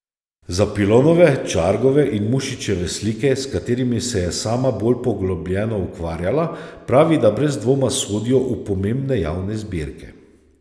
Za Pilonove, Čargove in Mušičeve slike, s katerimi se je sama bolj poglobljeno ukvarjala, pravi, da brez dvoma sodijo v pomembne javne zbirke.